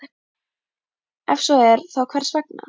Ef svo er, þá hvers vegna?